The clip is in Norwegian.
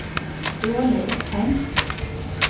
Ståle Opheim